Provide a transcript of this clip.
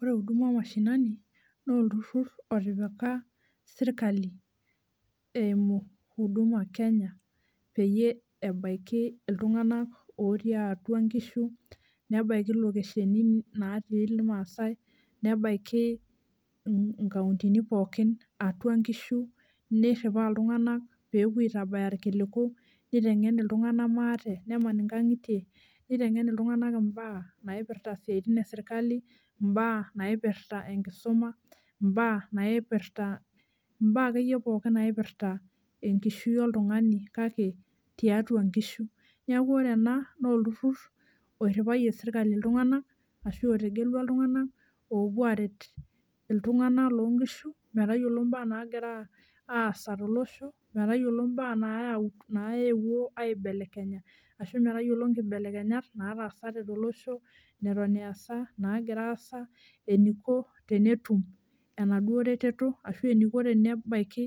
Ore huduma omashinani naa olturur otipika sirkali eimu huduma kenya peyie ebaiki iltunganak otii atua nkishu, nebaiki lokesheni natii irmaasae, nebaiki nkauntini pookin atua nkishu, niriwaa iltunganak pepuo aitabaya irkiliku nitengen iltunganak maate , neman inkangitie, nitengen iltunganak imbaa naipirta isiatin esirkali , mbaa naipirta enkisuma ,mbaa naipirta, imbaa akeyie pookin naipirta enkishui oltungani kake tiatua nkishu, niaku ore ena naa olturur oiriwayie sirkali iltunganak ashu otegelua iltunganak opuo aret iltunganak loonkishu metayiolo mbaa nagira aasa tolosho, metayiolo mbaa nayau, naewuo aibelekenya ashu metayiolo nkibelekenyat nataasate tolosho, neton easa , nagira aasa, eniko tenetum enaduo reteto ashu eniko tenebaiki